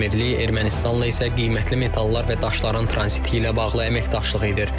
Əmirlik Ermənistanla isə qiymətli metallar və daşların tranziti ilə bağlı əməkdaşlıq edir.